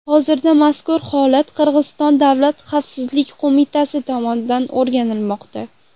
Hozirda mazkur holat Qirg‘iziston davlat xavfsizlik qo‘mitasi tomonidan o‘rganilmoqda.